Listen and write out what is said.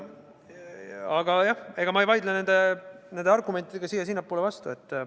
Aga jah, ma ei vaidle nende argumentidega siia-sinnapoole vastu.